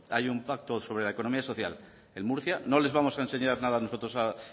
hay un pacto sobre la economía social en murcia no les vamos a enseñar nada nosotros